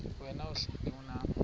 wena uhlel unam